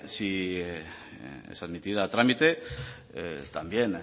si se admitiera a trámite también